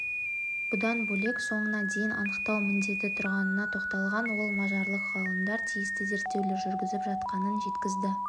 бұдан бөлек соңына дейін анықтау міндеті тұрғанына тоқталған ол мажарлық ғалымдар тиісті зерттеулер жүргізіп жатқанын жеткізді